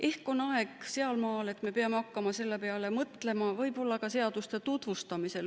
Ehk on aeg sealmaal, et me peame hakkama selle peale mõtlema ka seaduste tutvustamisel.